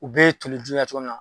U bɛɛ ye toli jula cogo min na